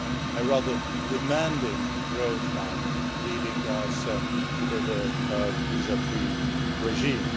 a rather demanding road map leading us to the visa free regime.